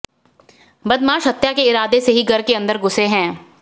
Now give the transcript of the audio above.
बदमाश हत्या के इरादे से ही घर के अंदर घुसे हैं